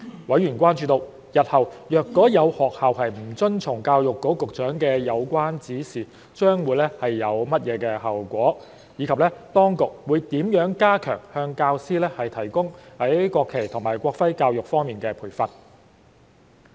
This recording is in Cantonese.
委員關注到，日後如果有學校不遵從教育局局長的有關指示，將會有甚麼後果，以及當局會如何加強向教師提供在國旗及國徽教育方面的培訓。